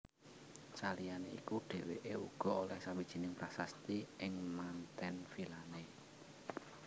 Saliyané iku dhèwèké uga olèh sawijining prasasti ing manten vilané